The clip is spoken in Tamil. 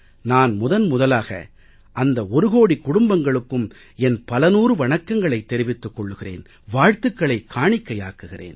நான் முதன் முதலாக அந்த ஒரு கோடிக் குடும்பங்களுக்கும் என் பல நூறு வணக்கங்களைத் தெரிவித்துக் கொள்கிறேன் வாழ்த்துக்களைக் காணிக்கையாக்குகிறேன்